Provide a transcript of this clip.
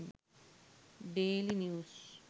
daily news